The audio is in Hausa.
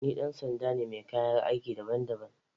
Ni dan sanda ne mai kayan aiki daban-daban.